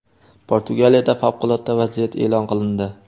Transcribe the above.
Portugaliyada favqulodda vaziyat e’lon qilindi.